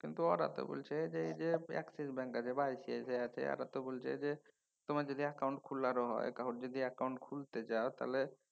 কিন্তু ওরা তো বইলছে এই যে Axis bank আছে বা ICICI আছে এঁরা তো বলছে যে তোমার যদি অ্যাকাউন্ট খুলারও হয় যদি account খুলতে যাও